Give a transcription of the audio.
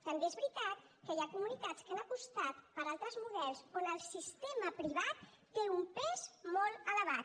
també és veritat que hi ha comunitats que han apostat per altres models on el sistema privat té un pes molt elevat